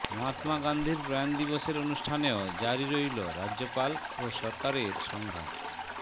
মহাত্মা গান্ধীর প্রয়াণ দিবসের অনুষ্ঠানেও জারি রইল রাজ্যপাল ও সরকারের সংঘাত